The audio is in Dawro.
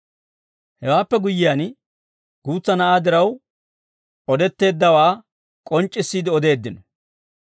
Hewaappe guyyiyaan guutsa na'aa diraw odetteeddawaa k'onc'c'issiide odeeddino.